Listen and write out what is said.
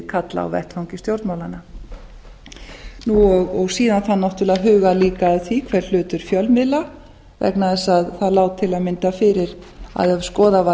karla á vettvangi stjórnmálanna síðan þarf náttúrlega að huga líka að því hver hlutur fjölmiðla er vegna þess að það lá til að mynda fyrir að ef skoðuð var